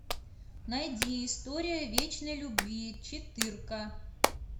найди история вечной любви четырка